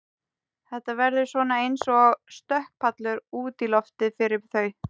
Þetta verður svona eins og stökkpallur út í lífið fyrir þau.